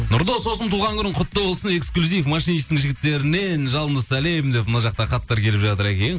нұрдос досым туған күнің құтты болсын эксклюзив машинистің жігіттерінен жалынды сәлем деп мына жақта хаттар келіп жатыр екен